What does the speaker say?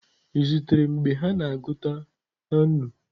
Ị zutere mgbe ha na-agụta na nnu?